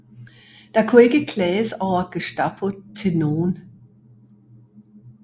Der kunne ikke klages over Gestapo til nogen